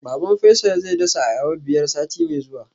Baban Faisal zai dasa ayaba biyar sati mai zuwa